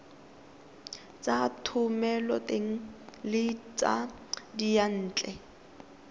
tsa thomeloteng le tsa diyantle